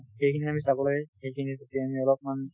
সেইখিনি আমি চাব লাগে। সেইখিনিৰ প্ৰতি আমি অলপমান